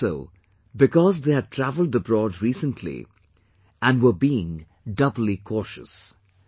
They did so because they had travelled abroad recently and were being doubly cautious